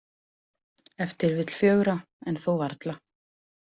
Ef til vill fjögurra en þó varla.